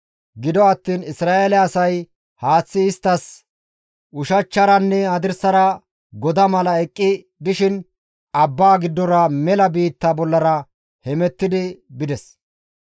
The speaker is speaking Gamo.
Gido attiin Isra7eele asay haaththi isttas ushachcharanne hadirsara goda mala eqqi dishin abbaa giddora mela biitta bollara hemetti bides.